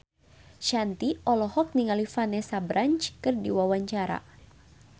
Shanti olohok ningali Vanessa Branch keur diwawancara